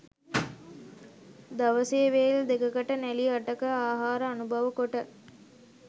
දවසේ වේල් දෙකට නැළි අටක ආහාර අනුභව කොට